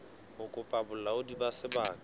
ho kopa bolaodi ba sebaka